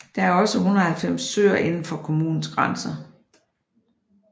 Der er også 190 søer indenfor kommunens grænser